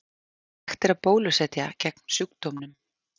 Hægt er að bólusetja gegn sjúkdómnum.